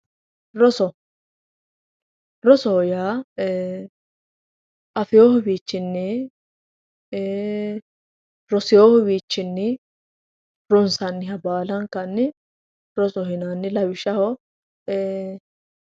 roso rosoho yaa afeewohu wiichinnii eeee roseewohu wiichinnii ronsanniha baalankanni rosoho yinanni lawishshaho eeeee